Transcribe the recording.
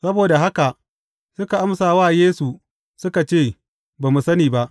Saboda haka suka amsa wa Yesu suka ce, Ba mu sani ba.